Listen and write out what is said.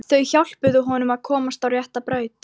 Þau hjálpuðu honum að komast á rétta braut.